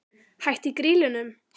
Hætt í Grýlunum?